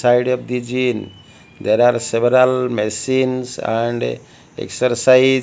side of the gyn there are several machines and excercise--